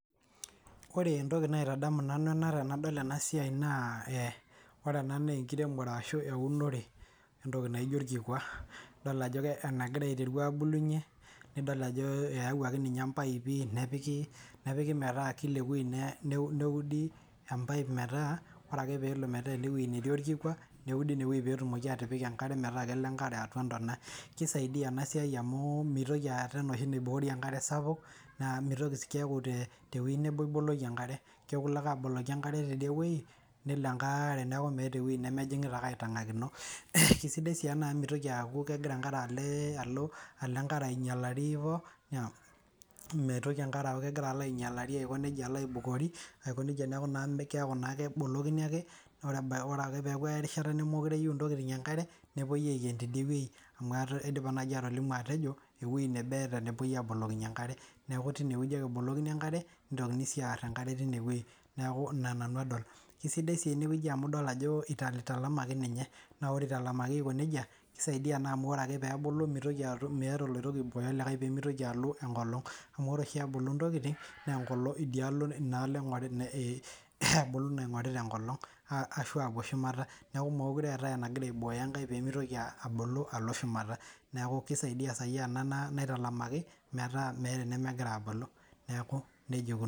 Kore entoki naitadamu nanu ena tenadol ena siai naa ee ore ena nee enkiremore ashu eunore entoki naijo orkikua, idol ajo ke enagira aiteru aabulunye, nidol ajo eewuaki ninye mpaipi nepiki nepiki metaa kila ne neudi empaip metaa ore ake peelo metaa ene wuei netii orkikua neudi ine wuei peetumoki atipika enkare metaa kelo enkare atua ntona. Kisaidia ena siai mau mitoki aata enoshi naiboori enkare sapuk naa mitoki keeku te te wuei nebo iboloki enkare, keeku ilo ake aboloki enkare tidie wuei nelo enkaare neeku meeta ewuei nemejing'ita ake aitang'akino. Kesidai sii ena amu mitoki aaku kegira enkare ale alo alo enkare ainyalari hivo naam meitoki enkare aaku kegira alo ainyalari aiko neija alo aibukori aiko neija. Neeku naa keeku naake ebolokini ake neeku ore ebaiki ore ake peeku erishata nemekure eyeu ntokitin enkare nepuoi aiken tidie wuei amu ata aidipa nai atolimo atejo ewuei nebo eeta napuoi aabolokinye enkare. Neeku tine wueji ake ebolokini enkare, nitoki sii aar enkare tine wuei, neeku ina nanu adol. Kesidai sii ene wueji amu idol ajo italtalamaki ninye naa ore italamaki aiko neija kisaidia naa amu ore ake peebulu mitoki atum meeta oloirobi oibooyo olikae pee mitoki alo enkolong' amu ore oshi ebulu ntokitin nee enkolong' idia alo ina alo ing'orit e e ebulu naing'orita enkolong' ashu aapuo shumata. Neeku meekure eetai enagira aiboyo enkae pee mitoki abulu alo shumata, neeku kisaidia saai ena na naitalamaki metaa enemegira aabulu neeku neija ikununo.